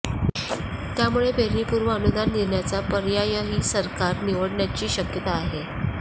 त्यामुळे पेरणीपूर्व अनुदान देण्याचा पर्यायही सरकार निवडण्याची शक्यता आहे